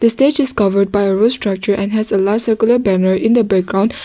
the stage is covered by a road structure and has a large circular banner in the background.